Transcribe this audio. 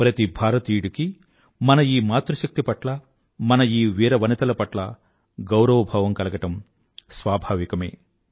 ప్రతి భారతీయుడికీ మన ఈ మాతృ శక్తి పట్ల మన ఈ వీర వనితల పట్ల గౌరవభావం కలగడం స్వాభావికమే